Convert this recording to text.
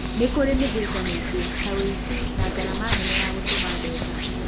Nĩ kũrĩ mĩhĩnga mĩingĩ, ta ũici na ngarama nene ya gũtũma mbeca.